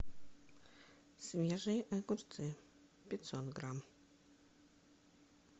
свежие огурцы пятьсот грамм